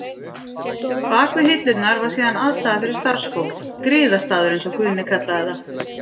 Bak við hillurnar var síðan aðstaða fyrir starfsfólk, griðastaður, eins og Guðni kallaði það.